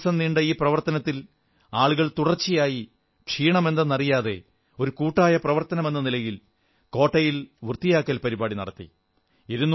ഇരുന്നൂറു ദിവസം നീണ്ട ഈ പ്രവർത്തനത്തിൽ ആളുകൾ തുടർച്ചയായി ക്ഷീണമറിയാതെ ഒരു കൂട്ടായെ പ്രവർത്തനമെന്ന നിലയിൽ കോട്ടയിൽ വൃത്തിയാക്കൽ പരിപാടി നടത്തി